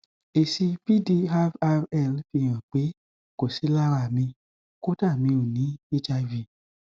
èsì vdrrl fi hàn pé kò sí lárá mi kódà mi ò ní hiv